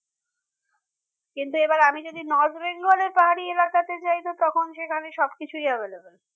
কিন্তু এবার আমি যদি North-bengal এর পাহাড়ি এলাকাতে যাই তো তখন সেখানে সবকিছুই available